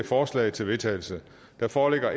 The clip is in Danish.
forslag til vedtagelse der foreligger